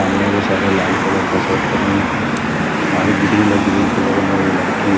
सामने वो सारे लाल कलर का शर्ट पहन के बाहर ग्रिल है ग्रिल के बगल में वो लड़की है।